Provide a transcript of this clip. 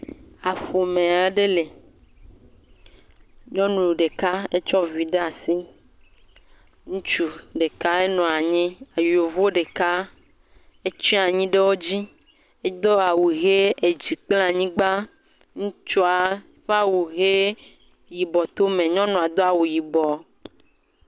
Aƒome aɖe le, nyɔnu ɖeka etsɔ vi ɖe asi, ŋutsu ɖeka enɔ anyi, yevu ɖeka, etsyɔ anyi ɖe wo dzi, edo awu ʋe, edzi kple anyigba, ŋutsua ƒe awu ʋe, yibɔ to me, nyɔnua do awu yibɔ.